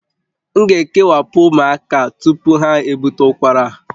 M ga-ekewapụ ụmụaka tupu ha ebute ụkwara a